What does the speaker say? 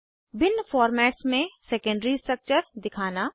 भिन्न फॉर्मेट्स में secondary structure दिखाना